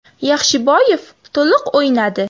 Yaxshiboyev to‘liq o‘ynadi.